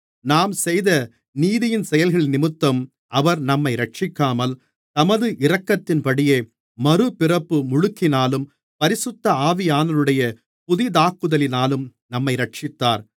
நாம் செய்த நீதியின் செயல்களினிமித்தம் அவர் நம்மை இரட்சிக்காமல் தமது இரக்கத்தின்படியே மறுபிறப்பு முழுக்கினாலும் பரிசுத்த ஆவியானவருடைய புதிதாக்குதலினாலும் நம்மை இரட்சித்தார்